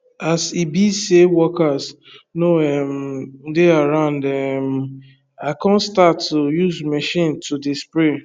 as e be say workers no um dey around um i come start to use machine to dey spray